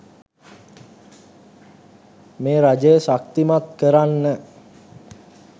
මේ රජය ශක්තිමත් කරන්න